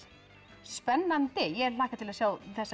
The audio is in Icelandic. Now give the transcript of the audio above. spennandi ég hlakka til að sjá þessa